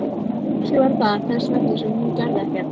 Kannski var það þess vegna sem hún gerði ekkert.